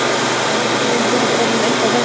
Ég held þú sért orðinn eitthvað verri.